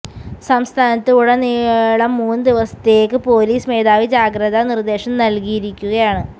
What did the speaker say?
സംസ്ഥാനത്ത് ഉടനീളം മൂന്ന് ദിവസത്തേക്ക് പോലീസ് മേധാവി ജാഗ്രതാ നിര്ദേശം നല്കിയിരിക്കുകയാണ്